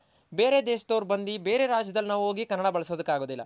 ಬೇರೆ ದೇಶದವ್ರ್ ಬಂದಿ ಬೇರೆ ರಾಜ್ಯದಲ್ ನಾವ್ ಹೋಗಿ ಕನ್ನಡ ನಾವ್ ಬಳಸೋಕ್ ಆಗೋದಿಲ್ಲ